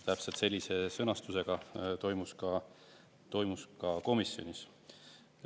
Täpselt sellise sõnastusega toimus see ka komisjonis.